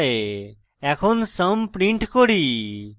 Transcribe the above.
এখন sum print করি